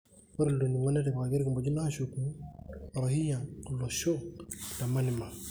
Ore ilo ningo netipika orkimojino ashuku Warohingya olosho le Myanmar.